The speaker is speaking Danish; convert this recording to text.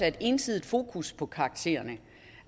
et ensidigt fokus på karaktererne